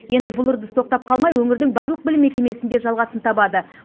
енді бұл үрдіс тоқтап қалмай өңірдің барлық білім мекемесінде жалғасын табады